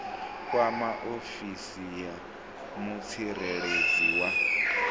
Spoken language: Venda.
kwama ofisi ya mutsireledzi wa